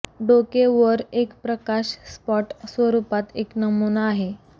डोके वर एक प्रकाश स्पॉट स्वरूपात एक नमुना आहे